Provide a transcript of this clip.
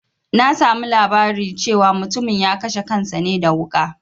Na samu labari cewa mutumin ya kashe kansa ne da wuƙa